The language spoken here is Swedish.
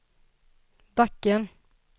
backen